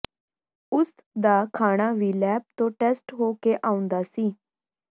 ਉਸ ਦਾ ਖਾਣਾ ਵੀ ਲੈਬ ਤੋਂ ਟੈਸਟ ਹੋ ਕੇ ਆਉਂਦਾ ਸੀ